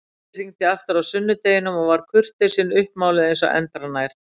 Keli hringdi aftur á sunnudeginum og var kurteisin uppmáluð eins og endranær.